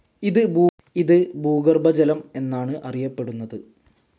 ഇത് ഭൂഗർഭജലം എന്നാണ് അറിയപ്പെടുന്നത്.